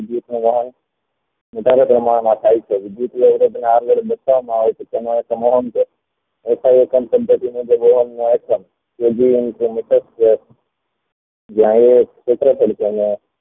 વધારે પ્રમાણ માં થાય છે આગળ જતા ન હોય છે તેમાં